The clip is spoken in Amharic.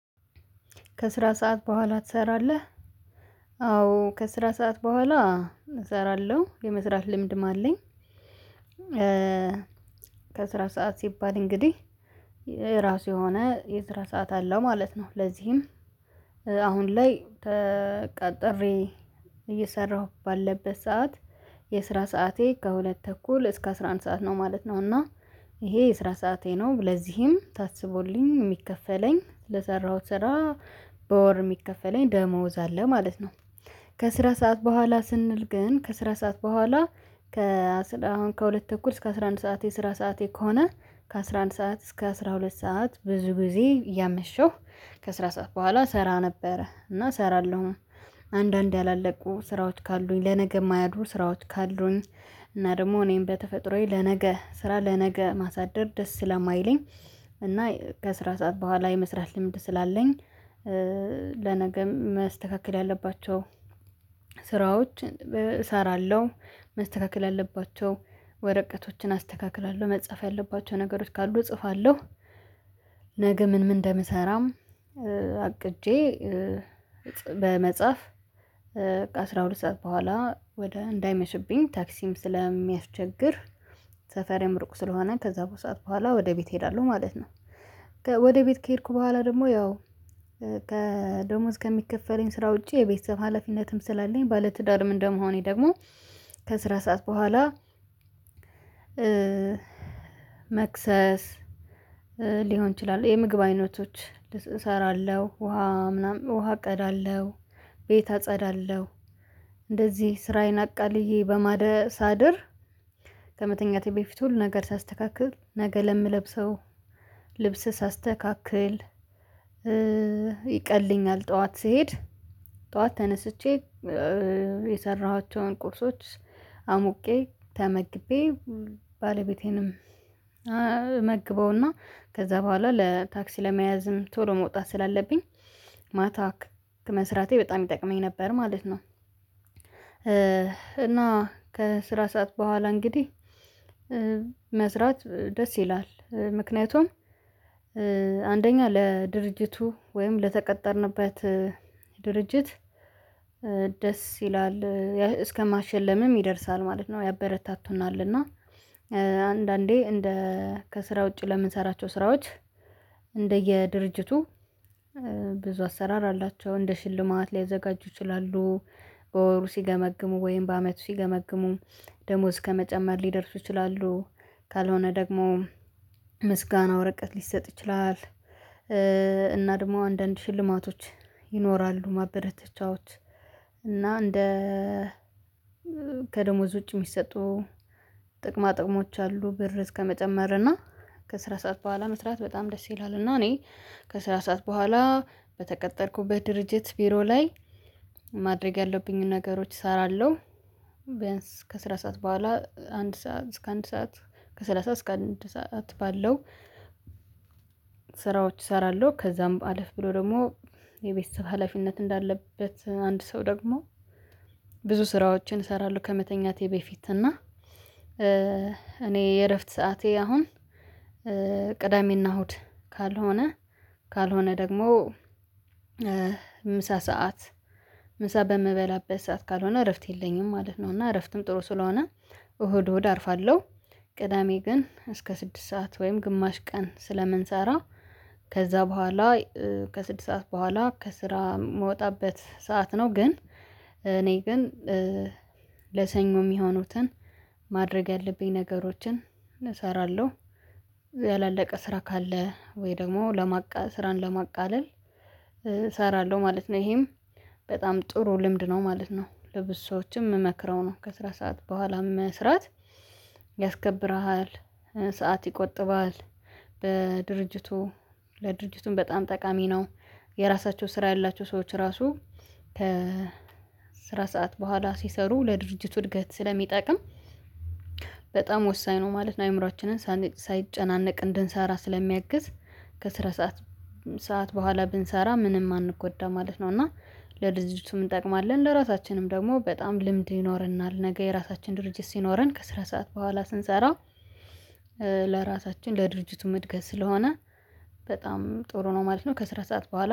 ከስራ ሰዓት በኋላ ትሰራለህ? አዎ ከስራ ሰዓት በኋላ እሰራለሁ የመስራት ልምድም አለኝ። ከስራ ሰዓት ሲባል እንግዲህ የራሱ የሆነ የስራ ሰዓት አለው ማለት ነው። ለዚህም አሁን ላይ ተቀጥሬ እየሰራሁ ባለበት ሰዓት የስራ ሰዓቴ ከሁለት ተኩል እስከ አስራ አንድ ሰዓት ነው ማለት ነው። እና ይሄ የስራ ሰዓቴ ነው ለዚህም ታስቦልኝ የሚከፈለኝ ለሰራሁት ስራ በወር የሚከፈለኝ ደሞዝ አለ ማለት ነው። ከስራ ሰዓት በኋላ ስንል ግን ከስራ ሰዓት በኋላ ከአስራ አሁን ከሁለት ተኩል እስከ አስራ አንድ ሰዓቴ እስከ አስራ ሰዓቴ ከሆነ ከአስራ አንድ ሰዓት እስከ አስራ ሁለት ሰዓት ብዙ ጊዜ ያመሸው ከ ስራ ሰዓት በኋላ እሰራ ነበረ። እና እሰራለሁ። አንዳንድ ያላለቁ ስራዎች ካሉኝ ለነገ የማያድጉ ስራዎች ካሉኝ እና ደግሞ እኔም በተፈጥሮዬ ለነገ ስራ ለነገ ማሳደር ደስ ስለማይለኝ እና ከስራ ሰዓት በኋላ የመስራት ልምድ ስላለኝ። ለነገም መስተካከል ያለባቸው ስራዎች እሰራለሁ መስተካከል ያለባቸው ወረቀቶችን አስተካክላለሁ መጻፍ ያለባቸው ነገሮች ካሉ እጽፋለሁ። ነገ ምን ምን እንደምሰራም? አቅጄ በመጽሐፍ ከ አስራ ሁለት ሰዓት በኋላ ወደ እንዳይመሽብኝ ታክሲም ስለሚያስቸግር ሰፈሬም ሩቅ ስለሆነ ከዛ ሰዓት በኋላ ወደ ቤት እሄዳለሁ ማለት ነው። ወደ ቤት ከሄድኩ በኋላ ደግሞ ያው ከደሞዝ ከሚከፈለኝ ስራ ውጪ የቤተሰብ ሀላፊነትም ስላለኝ ባለትዳር እንደመሆኔ ደግሞ ከስራ ሰዓት በኋላ። መክሰስ ሊሆን ይችላል የምግብ አይነቶች እሰራለሁ ውሃ ምናምን ውሃ እቀዳለሁ ቤት አጸዳለሁ እንደዚህ ስራዬን አቃልየ በማደሳደር ከመተኛቴ በፊት ሁሉን ነገር ሳስተካክል ነገ ለምለብሰው ልብስ ሳስተካክል ይቀለኛል ጠዋት ስሄድ ጠዋት ተነስቼ የሰራኋቸውን ቁርሶች አሙቄ ተመግቤ ባለቤቴንም መግበውና ከዛ በኋላ ለታክሲ ለመያዝም ቶሎ መውጣት ስላለብኝ ማታ መስራቴ በጣም ይጠቅመኝ ነበር ማለት ነው። እና ከስራ ሰዓት በኋላ እንግዲህ መስራት ደስ ይላል። ምክንያቱም አንደኛ ለድርጅቱ ወይም ለተቀጠርንበት ድርጅት ደስ ይላል እስከማሸለምም ይደርሳል ማለት ነው። ያበረታቱናል እና አንዳንዴ እንደ ከስራ ውጪ ለምንሰራቸው ስራዎች እንደየድርጅቱ ብዙ አሰራር አላቸው እንደ ሽልማት ሊያዘጋጁ ይችላሉ። በወሩ ሲገመግሙ ወይም በአመቱ ሲገመግሙ ደሞዝ ከመጨመር ሊደርሱ ይችላሉ። ካልሆነ ደግሞ ምስጋና ወረቀት ሊሰጥ ይችላል። እና ደግሞ አንዳንድ ሽልማቶች ይኖራሉ ማበረታቻዎች እና እንደ ከደሞዝ ውጪ የሚሰጡ ጥቅማ ጥቅሞች አሉ። ብር እስከመጨመር እና ከስራ ሰዓት በኋላ መስራት በጣም ደስ ይላል። እና እኔ ከስራ ሰዓት በኋላ በተቀጠርኩበት ድርጅት ቢሮ ላይ ማድረግ ያለብኝን ነገሮች እሰራለሁ። በያንስ ከስራ ሰዓት በኋላ አንድ ሰዓት እስከ አንድ ሰዓት ከሰላሳ እስከ አንድ ሰዓት ባለው ስራዎች እሰራለሁ ከዛም አለፍ ብሎ ደግሞ የቤተሰብ ሀላፊነት እንዳለበት አንድ ሰው ደግሞ ብዙ ስራዎችን እሰራለሁ። ከመተኛቴ በፊት እና እኔ የእረፍት ሰዓቴ አሁን ቅዳሜና እሁድ ካልሆነ ካልሆነ ደግሞ ምሳ ሰዓት ምሳ በምበላበት ሰዓት ካልሆነ እረፍት የለኝም ማለት ነው። እና እረፍትም ጥሩ ስለሆነ እሁድ እሁድ አርፋለሁ። ቅዳሜ ግን እስከ ስድስት ሰዓት ወይም ግማሽ ቀን ስለምንሰራ ከዛ በኋላ ከስድስት ሰዓት በኋላ ከስራ የምወጣበት ሰዓት ነው። ግን እኔ ግን ለሰኞ የሚሆኑትን ማድረግ ያለብኝን ነገሮችን እሰራለሁ ያላለቀ ስራ ካለ ወይ ደግሞ ለማቃ ስራን ለማቃለል እሰራለሁ ማለት ነው። ይሄም በጣም ጥሩ ልምድ ነው ማለት ነው። ለብዙ ሰዎችም የምመክረው ነው። ከስራ ሰዓት በኋላም መስራት ያስከብርሃል ሰዓት ይቆጥባል በድርጅቱ ለድርጅቱም በጣም ጠቃሚ ነው። የራሳቸው ስራ ያላቸው ሰዎች ራሱ ከ ስራ ሰዓት በኋላ ሲሰሩ ለድርጅቱ እድገት ስለሚጠቅም በጣም ወሳኝ ነው ማለት ነው። አእምሮአችንን ሳይጨናነቅ እንድንሰራ ስለሚያግዝ ከስረ ሰዓት ሰዓት በኋላ ብንሰራ ምንም አንጎዳም ማለት ነው። እና ለድርጅቱም እንጠቅማለን ለራሳችንም ደግሞ በጣም ልምድ ይኖርናል። ነገ የራሳችን ድርጅት ሲኖረን ከስራ ሰዓት በኋላ ስንሰራ ለራሳችን ለድርጅቱ እድገት ስለሆነ በጣም ጥሩ ነው ማለት ነው። ከስራ ሰዓት በኋላ